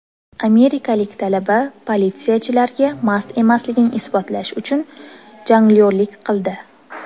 Amerikalik talaba politsiyachilarga mast emasligini isbotlash uchun jonglyorlik qildi.